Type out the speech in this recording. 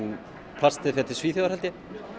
plastið fer til Svíþjóðar held ég